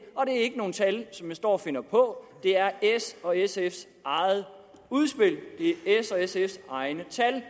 er ikke nogen tal som jeg står og finder på det er s og sfs eget udspil det er s og sfs egne tal